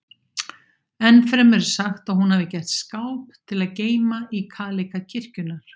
Ennfremur er sagt að hún hafi gert skáp til að geyma í kaleika kirkjunnar.